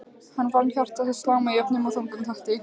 Hann fann hjarta sitt slá með jöfnum og þungum takti.